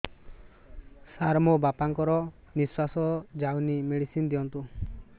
ସାର ମୋର ବାପା ଙ୍କର ନିଃଶ୍ବାସ ଯାଉନି ମେଡିସିନ ଦିଅନ୍ତୁ